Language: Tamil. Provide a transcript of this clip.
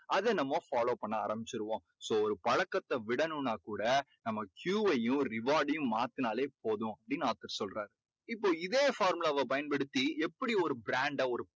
அதை நம்ம follow பண்ண ஆரம்பிச்சுடுவோம். so ஒரு பழக்கத்தை விடணும்னா கூட நம்ம Q வையும் reward டையும் மாத்துனாலே போதும் அப்படீன்னு author சொல்றார் இப்போ இதே formula வை பயன்படுத்தி எப்படி ஒரு brand அ